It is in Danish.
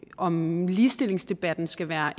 om ligestillingsdebatten skal være